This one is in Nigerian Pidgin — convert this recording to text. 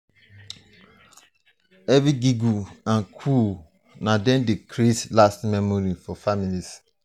every giggle and coo na dem dey creat lasting memory for families.